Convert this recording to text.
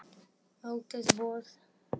Mótið búið?